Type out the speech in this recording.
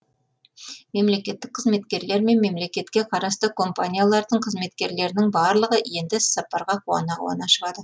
мемлекеттік қызметкерлер мен мемлекетке қарасты компаниялардың қызметкерлерінің барлығы енді іссапарға қуана қуана шығады